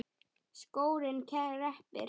Skórinn kreppir